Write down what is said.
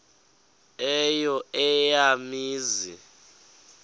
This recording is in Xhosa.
eyo eya mizi